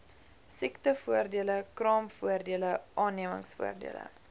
siektevoordele kraamvoordele aannemingsvoordele